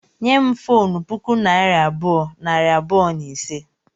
Nye m fonu puku naira abụọ, nari abụọ na ise